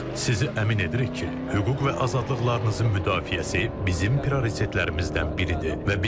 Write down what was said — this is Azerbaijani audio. Sizi əmin edirik ki, hüquq və azadlıqlarınızın müdafiəsi bizim prioritetlərimizdən biridir.